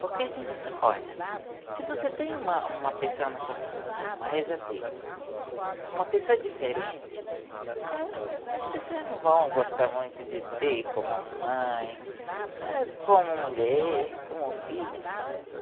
Porque, olha, se você tem uma, uma pessoa na sua família, uma rezadeira, uma pessoa diferente, as pessoas não vão gostar muito de ter como mãe, como mulher, como filha.